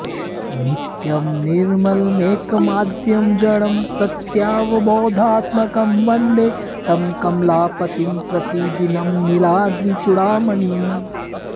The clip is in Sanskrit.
नित्यं निर्मलमेकमाद्यमजडं सत्यावबोधात्मकं वन्दे तं कमलापतिं प्रतिदिनं नीलाद्रिचूडामणिम्